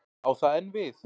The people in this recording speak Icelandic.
Á það enn við?